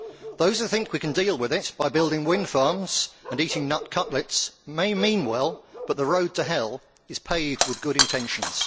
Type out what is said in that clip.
Those who think we can deal with it by building wind farms and eating nut cutlets may mean well, but the road to hell is paved with good intentions.